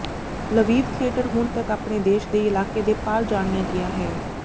Lviv theatre ਹੁਣ ਤੱਕ ਆਪਣੇ ਦੇਸ਼ ਦੇ ਇਲਾਕੇ ਦੇ ਪਾਰ ਜਾਣਿਆ ਗਿਆ ਹੈ